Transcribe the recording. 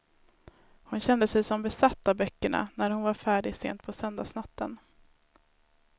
Hon kände sig som besatt av böckerna när hon var färdig sent på söndagsnatten.